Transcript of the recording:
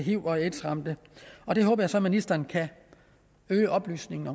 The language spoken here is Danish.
hiv og aids ramte og det håber jeg så ministeren kan øge oplysningen